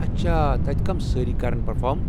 اچھا، تتہِ کٔم سٲری كرن پرفارٕم ؟